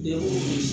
Ne ko